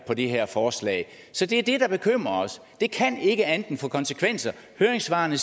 på det her forslag så det er det der bekymrer os det kan ikke andet end at få konsekvenser høringssvarene